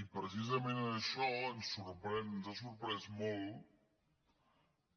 i precisament en això ens ha sorprès molt